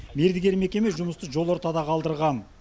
мердігер мекеме жұмысты жол ортада қалдырған